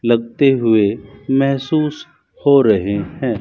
लगते हुए महसूस हो रहे हैं।